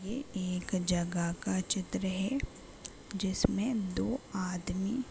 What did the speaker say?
ये एक जगह का चित्र है। जिसमें दो आदमी --